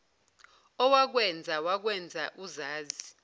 owakwenza wakwenza uzazi